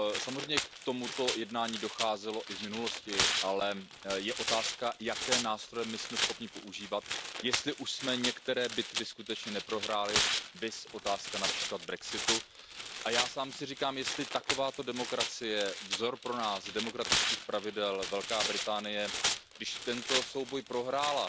Samozřejmě k tomuto jednání docházelo i v minulosti, ale je otázka, jaké nástroje jsme schopni používat a jestli už jsme některé bitvy skutečně neprohráli, viz otázka například brexitu. Já sám si říkám, že pokud taková demokracie, náš vzor demokratických pravidel Velká Británie tento souboj prohrála,